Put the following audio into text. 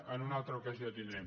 en una altra ocasió tindrem